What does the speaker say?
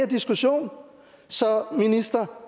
diskussion så minister